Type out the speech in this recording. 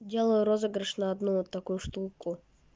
делаю розыгрыш на одну вот такую штуку